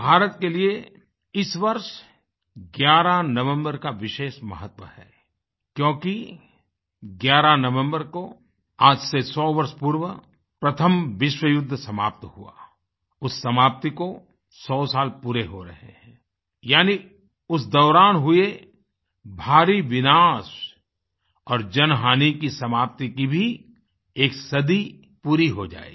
भारत के लिए इस वर्ष 11 नवम्बर का विशेष महत्व है क्योंकि 11 नवम्बर को आज से 100 वर्ष पूर्व प्रथम विश्व युद्ध समाप्त हुआ उस समाप्ति को 100 साल पूरे हो रहे हैं यानी उस दौरान हुए भारी विनाश और जनहानि की समाप्ति की भी एक सदी पूरी हो जाएगी